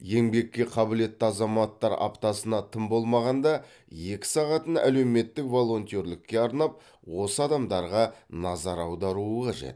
еңбекке қабілетті азаматтар аптасына тым болмағанда екі сағатын әлеуметтік волонтерлікке арнап осы адамдарға назар аударуы қажет